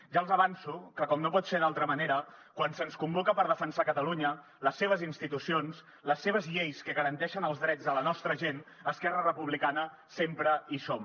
ja els avanço que com no pot ser d’altra manera quan se’ns convoca per defensar catalunya les seves institucions les seves lleis que garanteixen els drets de la nostra gent esquerra republicana sempre hi som